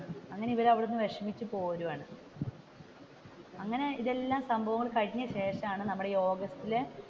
അങ്ങനെ ഇവർ അവിടെ നിന്ന് വിഷമിച്ചു പോരുവാണ് അങ്ങനെ ഇതെല്ലം സംഭവം കഴിഞ്ഞ ശേഷമാണ് നമ്മുടെ ഈ ഓഗസ്റ്റിൽ,